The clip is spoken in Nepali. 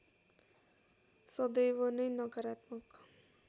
सदैव नै नकारात्मक